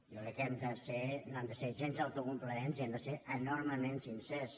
jo crec que no hem de ser gens autocomplaents i hem de ser enormement sincers